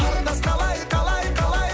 қарындас қалай қалай қалай